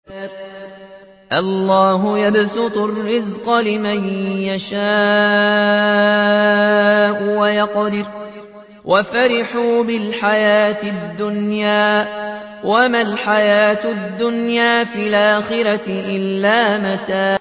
اللَّهُ يَبْسُطُ الرِّزْقَ لِمَن يَشَاءُ وَيَقْدِرُ ۚ وَفَرِحُوا بِالْحَيَاةِ الدُّنْيَا وَمَا الْحَيَاةُ الدُّنْيَا فِي الْآخِرَةِ إِلَّا مَتَاعٌ